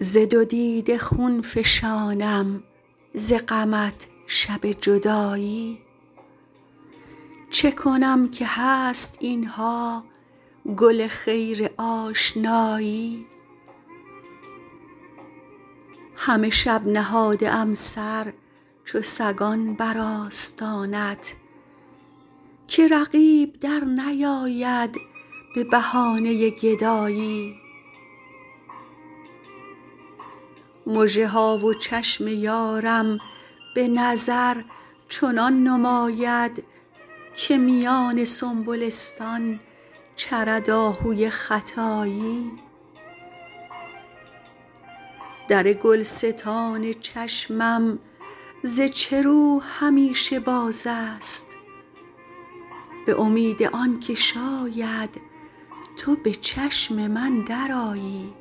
ز دو دیده خون فشانم ز غمت شب جدایی چه کنم که هست اینها گل خیر آشنایی همه شب نهاده ام سر چو سگان بر آستانت که رقیب در نیاید به بهانه گدایی مژه ها و چشم یارم به نظر چنان نماید که میان سنبلستان چرد آهوی ختایی در گلستان چشمم ز چه رو همیشه باز است به امید آنکه شاید تو به چشم من درآیی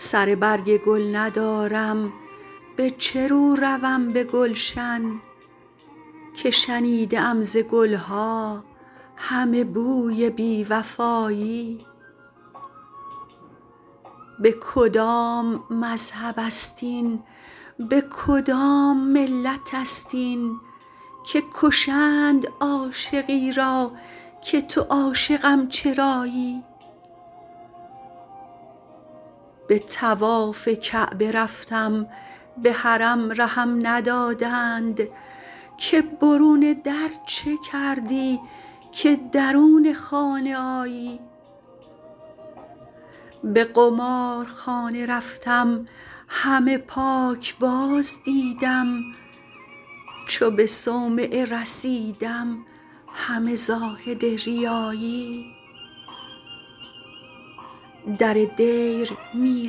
سر برگ گل ندارم به چه رو روم به گلشن که شنیده ام ز گلها همه بوی بی وفایی به کدام مذهب است این به کدام ملت است این که کشند عاشقی را که تو عاشقم چرایی به طواف کعبه رفتم به حرم رهم ندادند که برون در چه کردی که درون خانه آیی به قمارخانه رفتم همه پاکباز دیدم چو به صومعه رسیدم همه زاهد ریایی در دیر می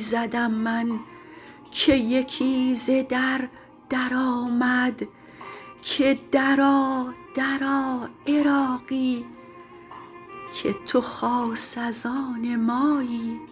زدم من که یکی ز در در آمد که درآ درآ عراقی که تو خاص از آن مایی